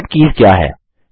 shortcut keys क्या हैं